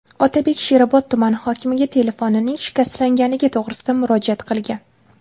Otabek Sherobod tumani hokimiga telefonining shikastlanganligi to‘g‘risida murojaat qilgan.